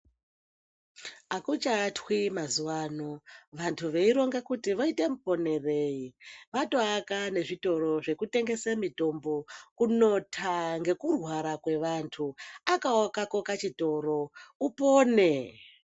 Ukachaatwi mazuva ano vantu veironga kuti voite muponerei vatoaka nezvitoro zvekutengese mitombo kunota ngekurwara kwevantu. Akawo kako kachitoro upone